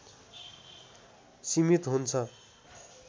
सिमित हुन्छ